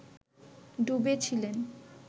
ডুবে ছিলেন